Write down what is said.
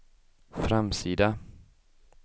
framsida